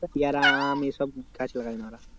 পিয়ারা আম এসব গাছ লাগাই না ওরা